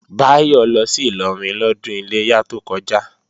Báyọ̀ lọ sí Ìlọrin lọ́dún Iléyá tó kọjá